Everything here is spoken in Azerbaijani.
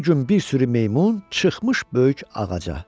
Bir gün bir sürü meymun çıxmış böyük ağaca.